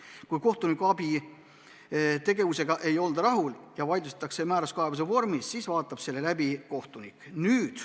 Kui kohtunikuabi tegevusega ei olda rahul ja see vaidlustatakse määruskaebuse vormis, siis vaatab selle läbi kohtunik.